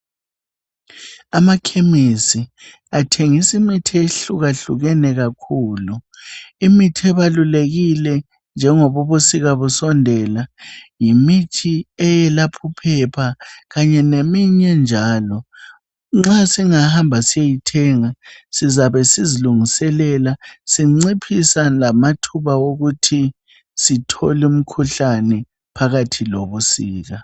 Amakhemesi athengisa imithi ehluka hlukene kakhulu. Imithi ebalulekile njengobu busika busondela,. Yimithi eyelapha uphephe kanye leminye njalo. Nxa singahamba siyeyithenga. Sizabe sizilungiselela sinciphisa lamathuba okuthi sithole imikhuhlane phakathi lobusika.